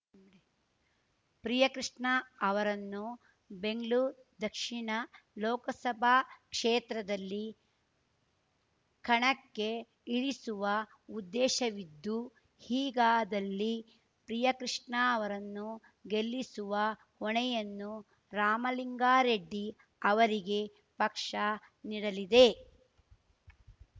ಪ್ರಿಯಕೃಷ್ಣ ಅವರನ್ನು ಬೆಂಗ್ಳೂರ್ ದಕ್ಷಿಣ ಲೋಕಸಭಾ ಕ್ಷೇತ್ರದಲ್ಲಿ ಕಣಕ್ಕೆ ಇಳಿಸುವ ಉದ್ದೇಶವಿದ್ದು ಹೀಗಾದಲ್ಲಿ ಪ್ರಿಯಕೃಷ್ಣ ಅವರನ್ನು ಗೆಲ್ಲಿಸುವ ಹೊಣೆಯನ್ನು ರಾಮಲಿಂಗಾರೆಡ್ಡಿ ಅವರಿಗೆ ಪಕ್ಷ ನೀಡಲಿದೆ